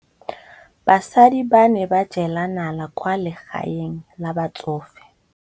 Basadi ba ne ba jela nala kwaa legaeng la batsofe.